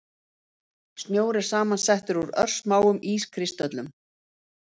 Snjór er samsettur úr örsmáum ískristöllum.